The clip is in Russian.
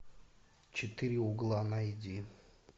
четыре угла найди